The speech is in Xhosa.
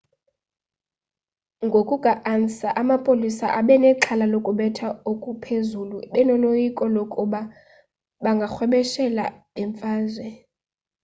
ngokuka-ansa amapolisa abenexhala lokubetha okuphezulu benoloyiko lokuba bangarhwebeshela bemfazwe